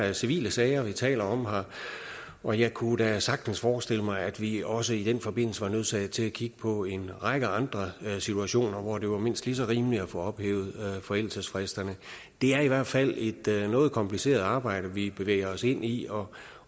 er civile sager vi taler om her og jeg kunne da sagtens forestille mig at vi også i den forbindelse var nødsaget til at kigge på en række andre situationer hvor det var mindst lige så rimeligt at få ophævet forældelsesfristerne det er i hvert fald et noget kompliceret arbejde vi bevæger os ind i og